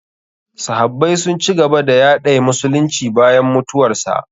Sahabbai sun ci gaba da yaɗay musulunci bayan mutuwarsa.